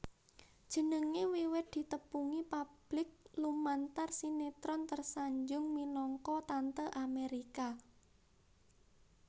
Jenengé wiwit ditepungi publik lumantar sinétron Tersanjung minangka Tante Amérika